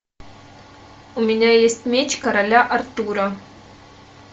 у меня есть меч короля артура